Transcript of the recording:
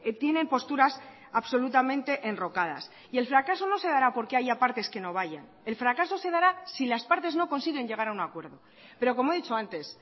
tienen posturas absolutamente enrocadas y el fracaso no se dará porque haya partes que no vayan el fracaso se dará si las partes no consiguen llegar a un acuerdo pero como he dicho antes